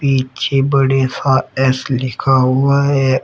पीछे बड़े सा एस लिखा हुआ है।